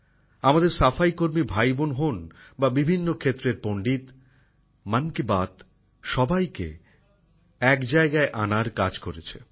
আমাদের সাফাইকর্মী ভাইবোন হোন বা বিভিন্ন ক্ষেত্রের বিশেষজ্ঞ মন কি বাত সবাইকে এক জায়গায় আনার কাজ করেছে